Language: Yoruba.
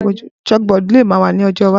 Chalkboard le ma wa ni ojo iwaju.